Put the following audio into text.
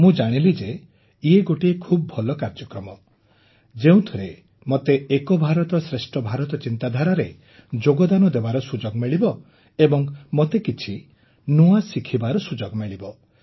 ମୁଁ ଜାଣିଲି ଯେ ଇଏ ଗୋଟିଏ ଖୁବ ଭଲ କାର୍ଯ୍ୟକ୍ରମ ଯେଉଁଥିରେ ମୋତେ ଏକ ଭାରତଶ୍ରେଷ୍ଠ ଭାରତର ଚିନ୍ତାଧାରାରେ ଯୋଗଦାନ ଦେବାର ସୁଯୋଗ ମିଳିବ ଏବଂ ମୋତେ କିଛି ନୂଆ କଥା ଶିଖିବାର ସୁଯୋଗ ମିଳିବ